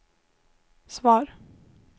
svar